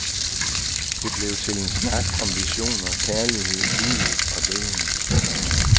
Det blev til en snak om visioner, kærlighed, livet og døden.